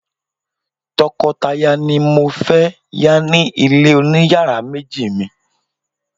tokotaya ni mo fe ya ni ile oniyaara meji mi